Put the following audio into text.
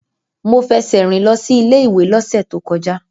Mo fẹsẹ̀ rìn lọ sí ilé-ìwé lọ́sẹ̀ tó kọjá.